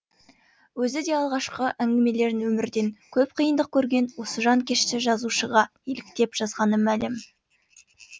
өзі де алғашқы әңгімелерін өмірден көп қиындық көрген осы жанкешті жазушыға еліктеп жазғаны мәлім